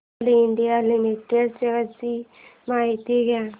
Coal India Limited shares ची माहिती द्या